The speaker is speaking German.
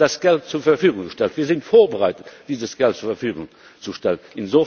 Wir hätten das Geld zur Verfügung gestellt, wir sind vorbereitet, dieses Geld zur Verfügung zu stellen.